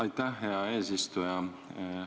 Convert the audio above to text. Aitäh, hea eesistuja!